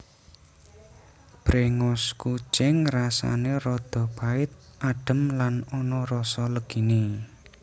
Bréngos kucing rasané rada pait adhem lan ana rasa leginé